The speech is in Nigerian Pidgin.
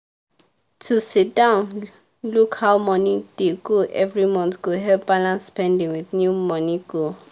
to sit down look how money dey go every month go help balance spending with new money goal.